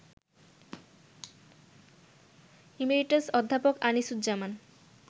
emeritus অধ্যাপক আনিসুজ্জামান